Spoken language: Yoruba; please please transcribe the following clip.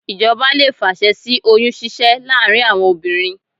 Ìjọba lè fàṣẹ sí oyún ṣíṣẹ́ láàárín àwọn obìnrin